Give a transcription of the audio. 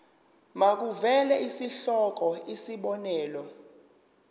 makuvele isihloko isib